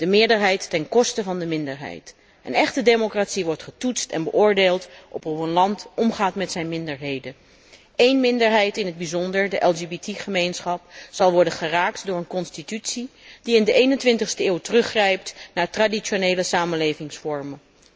De meerderheid ten koste van de minderheid. Een echte democratie wordt getoetst en beoordeeld op hoe een land omgaat met zijn minderheden. Eén minderheid in het bijzonder, de LGBT gemeenschap, zal worden geraakt door een constitutie die in de 21ste eeuw teruggrijpt naar traditionele samenlevingsvormen.